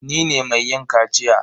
Ni ne mai yin kaciya.